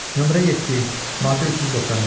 Nömrə 7, maddə 395.